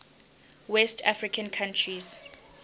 west african countries